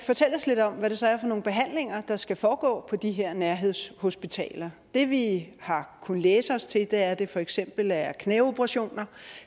fortælle os lidt om hvad det så er for nogle behandlinger der skal foregå på de her nærhedshospitaler det vi har kunnet læse os til er at det for eksempel er knæoperationer